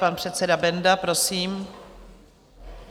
Pan předseda Benda, prosím.